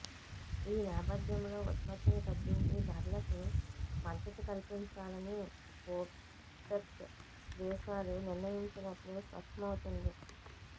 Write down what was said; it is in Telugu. ఈ నేపథ్యంలో ఉత్పత్తిని తగ్గించి ధరలకు మద్దతు కల్పించాలని ఒపెక్ దేశాలు నిర్ణయించినట్లు స్పష్టమవుతోంది